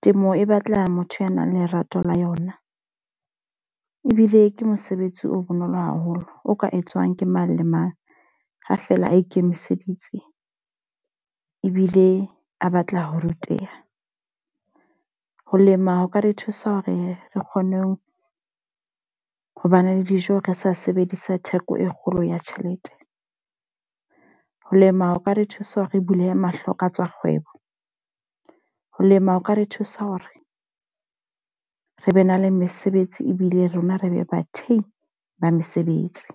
Temo e batla motho ya nang le lerato la yona. Ebile ke mosebetsi o bonolo haholo, o ka etswang ke mang le mang ha fela a ikemiseditse ebile a batla ho ruteha. Ho lema ho ka re thusa hore re kgone ho ba ne le dijo re sa sebedisa theko e kgolo ya tjhelete. Ho lema ho ka re thusa re bulehe mahlo ka tsa kgwebo. Ho lema ho ka re thusa hore re be na le mesebetsi ebile rona re be bathehi ba mesebetsi.